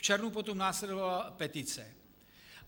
V červnu potom následovala petice.